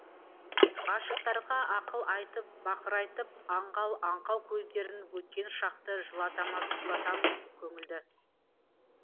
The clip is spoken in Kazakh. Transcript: ғашықтарға ақыл айтып бақырайтып аңғал аңқау көздерін өткен шақты жылатамызқұлатамыз көңілді